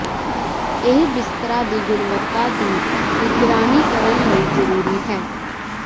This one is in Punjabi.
ਇਹ ਬਿਸਤਰਾ ਦੀ ਗੁਣਵੱਤਾ ਦੀ ਨਿਗਰਾਨੀ ਕਰਨ ਲਈ ਜ਼ਰੂਰੀ ਹੈ